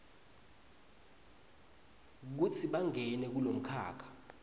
kutsi bangene kulomkhakha